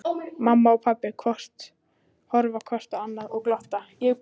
Mamma og pabbi horfa hvort á annað og glotta.